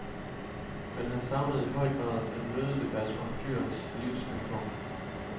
Men han savnede i høj grad en mødedebat om dyrenes livsvilkår.